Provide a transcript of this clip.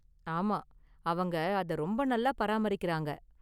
ஆமா, அவங்க அத ரொம்ப நல்லா பாராமரிக்கிறாங்க.